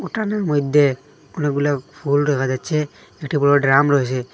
এখানের মইধ্যে অনেকগুলা ফুল দেখা যাচ্ছে একটি বড় ড্রাম রয়েছে।